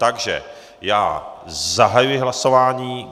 Takže já zahajuji hlasování.